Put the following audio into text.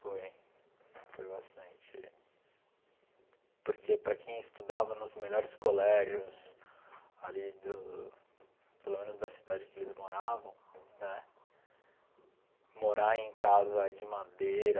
Foi foi bastante, porque para quem estudava nos melhores colégios ali do pelo menos da cidade que eles moravam né, morar em casa de madeira